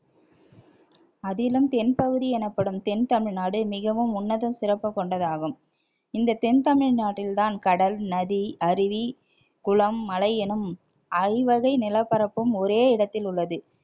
அதிலும் தென்பகுதி எனப்படும் தென் தமிழ்நாடு மிகவும் உன்னத சிறப்பு கொண்டதாகும் இந்த தென் தமிழ்நாட்டில்தான் கடல், நதி, அருவி குளம், மலை எனும் ஐவகை நிலப்பரப்பும் ஒரே இடத்தில் உள்ளது